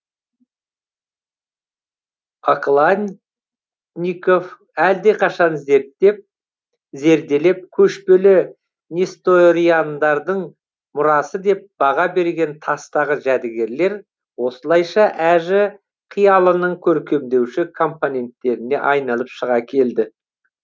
окладников әлдеқашан зерттеп зерделеп көшпелі несториандардың мұрасы деп баға берген тастағы жәдігерлер осылайша әжі қиялының көркемдеуші компоненттеріне айналып шыға келеді